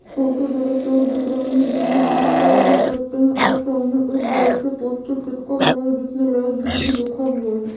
Photo जरा दर डोर दिख रहे है जिनमे ग्रीन कलर में पते है और सामने एक बड़ा सा पोस्टर चिपका हुआ है जिसमे लाइब्रेरी लिखा हुआ है।